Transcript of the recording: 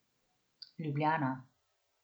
Ljubljana.